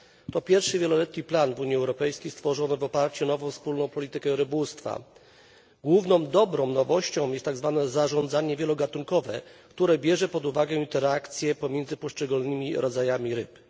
To pierwszy wieloletni plan w Unii Europejskiej stworzony w oparciu o nową wspólną politykę rybołówstwa. Główną dobrą nowością jest tak zwane zarządzanie wielogatunkowe, które bierze pod uwagę interakcje pomiędzy poszczególnymi rodzajami ryb.